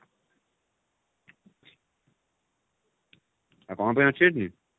ଆଉ କଣ ପାଇଁ ଅଛି ସେଠି?